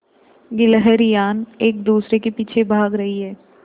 गिल्हरियान एक दूसरे के पीछे भाग रहीं है